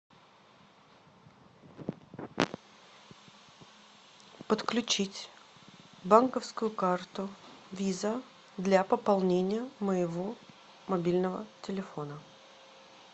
подключить банковскую карту виза для пополнения моего мобильного телефона